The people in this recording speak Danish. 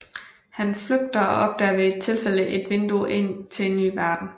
Han flygter og opdager ved et tilfælde et vindue ind til en ny verden